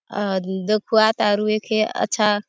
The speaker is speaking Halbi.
-- अद दखुआत आरु ऐके अच्छा--